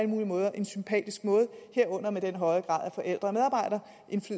mulige måder en sympatisk måde herunder med den høje grad af forældre